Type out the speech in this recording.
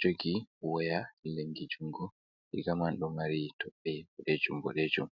jogi waya lengi jungo. Riga man do mari toɓɓe bodejum-bodejum.